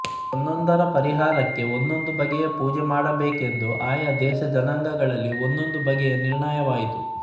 ಒಂದೊಂದರ ಪರಿಹಾರಕ್ಕೆ ಒಂದೊಂದು ಬಗೆಯ ಪೂಜೆ ಮಾಡಬೇಕೆಂದು ಆಯಾ ದೇಶಜನಾಂಗಗಳಲ್ಲಿ ಒಂದೊಂದು ಬಗೆಯಾಗಿ ನಿರ್ಣಯವಾಯಿತು